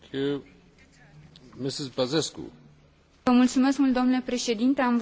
Am votat în favoarea acestui raport, deoarece consumul de energie trebuie redus.